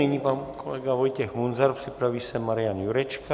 Nyní pan kolega Vojtěch Munzar, připraví se Marian Jurečka.